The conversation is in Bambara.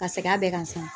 Ka segin a bɛɛ kan sa